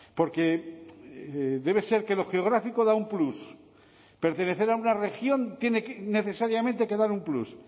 porque debe ser que lo geográfico da un plus pertenecer a una región tiene necesariamente que dar un plus